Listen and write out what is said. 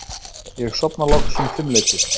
Ég sofna loks um fimmleytið.